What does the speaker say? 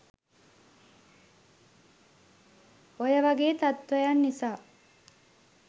ඔය වගේ තත්ත්වයන් නිසා